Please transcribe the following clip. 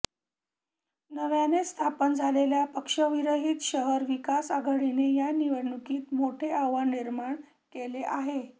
नव्याने स्थापन झालेली पक्षविरहीत शहर विकास आघाडनीने या निवडणुकीत मोठे आव्हान निर्माण केले आहे